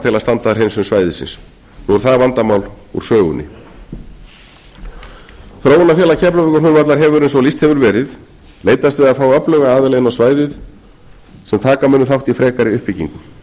að standa að hreinsun svæðisins nú er það vandamál úr sögunni þróunarfélag keflavíkurflugvallar hefur eins og lýst hefur verið leitast við að fá öfluga aðila inn á svæðið sem taka munu þátt í frekari uppbyggingu